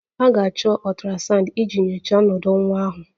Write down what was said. A ga-achọ ultrasound iji nyochaa ọnọdụ nwa ahụ